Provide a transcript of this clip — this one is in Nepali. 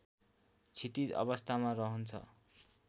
क्षितिज अवस्थामा रहन्छ